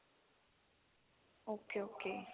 okay okay